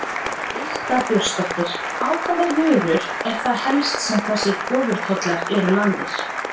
Birta Björnsdóttir: Á hvaða vörur eru það helst sem þessir ofurtollar eru lagðir?